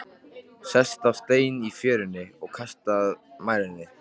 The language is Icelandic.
Sest á stein í fjörunni og kastar mæðinni.